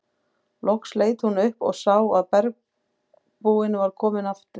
Loks leit hún upp og sá að bergbúinn var kominn aftur.